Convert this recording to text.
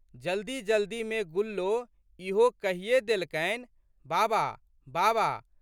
जल्दीजल्दीमे गुल्लो ईहो कहिए देलकनि, बाबा बाबा!